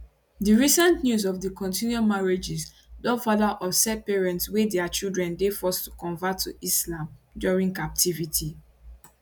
di recent news of di continued marriages don further upset parents wey dia children dey forced to convert to islam during captivity